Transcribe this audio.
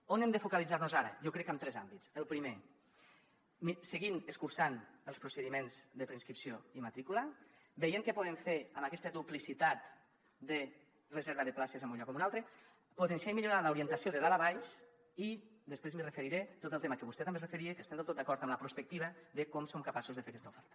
on hem de focalitzar nos ara jo crec que en tres àmbits el primer seguir escurçant els procediments de preinscripció i matrícula veient què podem fer amb aquesta duplicitat de reserva de places en un lloc o un altre potenciar i millorar l’orientació de dalt a baix i després m’hi referiré a tot el tema que vostè també s’hi referia que estem del tot d’acord amb la prospectiva de com som capaços de fer aquesta oferta